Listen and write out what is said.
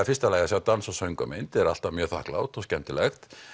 fyrsta lagi að sjá dans og söngvamynd það er alltaf mjög þakklátt og skemmtilegt